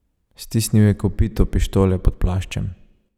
Stisnil je kopito pištole pod plaščem.